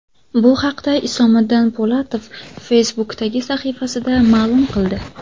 Bu haqda Isomiddin Po‘latov Facebook’dagi sahifasida ma’lum qildi .